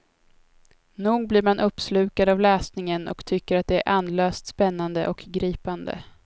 Nog blir man uppslukad av läsningen och tycker att det är andlöst spännande och gripande.